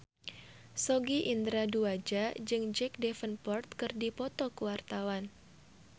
Sogi Indra Duaja jeung Jack Davenport keur dipoto ku wartawan